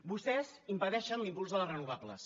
vostès impedeixen l’impuls de les renovables